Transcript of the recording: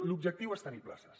l’objectiu és tenir pla·ces